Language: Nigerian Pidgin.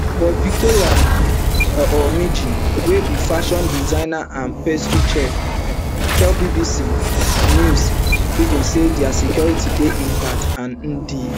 but victory um ojimini wey be fashion designer and pastry chef um tell bbc news pidgin say dia security dey intact and di